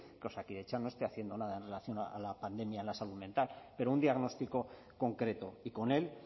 que osakidetza no esté haciendo nada en relación a la pandemia en la salud mental pero un diagnóstico concreto y con él